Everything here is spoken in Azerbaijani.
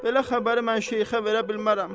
Belə xəbəri mən şeyxə verə bilmərəm.